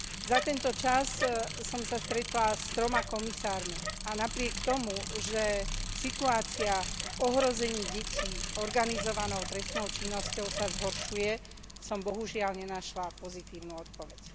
Za tento čas som sa stretla s troma komisármi a napriek tomu, že situácia v ohrození detí organizovanou trestnou činnosťou sa zhoršuje, som bohužiaľ nenašla pozitívnu odpoveď.